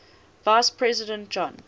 vice president john